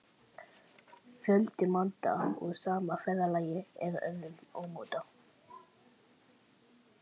Fjöldi mynda úr sama ferðalagi eða öðrum ámóta.